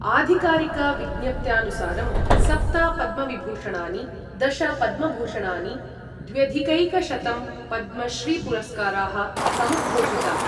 आधिकारिकविज्ञप्त्यानुसारं सप्त पद्मविभूषणानि, दश पद्मभूषणानि, द्व्यधिकैकशतं पद्मश्रीपुरस्काराः समुद्घोषिताः।